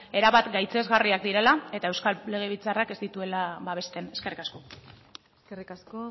erabat gaitzesgarriak direla eta eusko legebiltzarrak ez dituela babesten eskerrik asko eskerrik asko